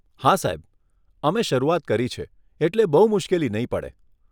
હા સાહેબ, અમે શરૂઆત કરી છે, એટલે બહુ મુશ્કેલી નહીં પડે.